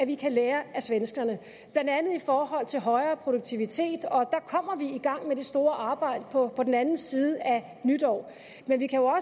vi kan lære af svenskerne blandt andet i forhold til højere produktivitet og der kommer vi i gang med det store arbejde på den anden side af nytår men vi kan jo